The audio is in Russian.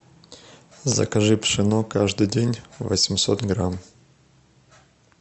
закажи пшено каждый день восемьсот грамм